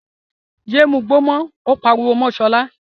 Yéé mugbó mọ́! ó pariwo mọ́ Sọlá.